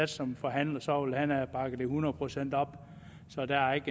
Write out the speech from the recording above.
som forhandler så ville han have bakket det hundrede procent op så der er